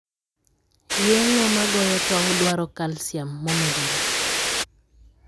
Yeng'o magoyo tong' dwaro calcium momedore.